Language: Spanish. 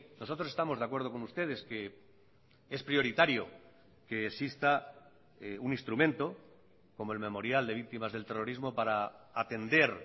nosotros estamos de acuerdo con ustedes que es prioritario que exista un instrumento como el memorial de víctimas del terrorismo para atender